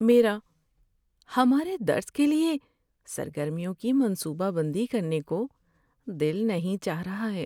میرا ہمارے درس کے لیے سرگرمیوں کی منصوبہ بندی کرنے کو دل نہیں چاہ رہا ہے۔